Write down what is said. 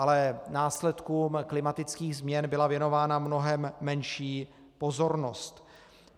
Ale následkům klimatických změn byla věnována mnohem menší pozornost.